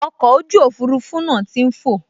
Ọkọ̀ ojú òfurufú náà tí n fọ̀